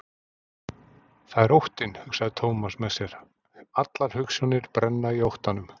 Það er óttinn, hugsaði Thomas með sér, allar hugsjónir brenna í óttanum.